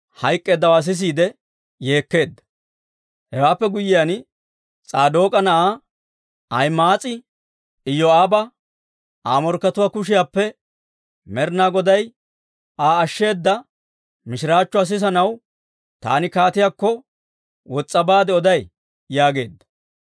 Hewaappe guyyiyaan, S'aadook'a na'aa Ahima'aas'i Iyoo'aaba, «Aa morkkatuwaa kushiyaappe Med'inaa Goday Aa ashsheeda mishiraachchuwaa sissanaw, taani kaatiyaakko wos's'a baade oday» yaageedda.